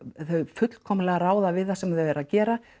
fullkomlega ráða við það sem þau eru að gera